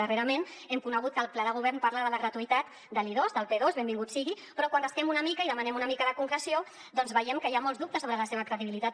darrerament hem conegut que el pla de govern parla de la gratuïtat de l’i2 del p2 benvingut sigui però quan rasquem una mica i demanem una mica de concreció doncs veiem que hi ha molts dubtes sobre la seva credibilitat